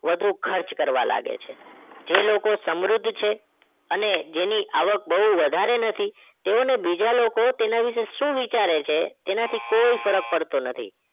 વધુ ખર્ચ કરવા લાગે છે જે લોકો સમૃદ્ધ છે અને જેની આવક બહુ વધારે નથી તેઓને બીજા લોકો તેના વિશે શું વિચારે છે એનાથી કોઈ ફરક પડતો નથી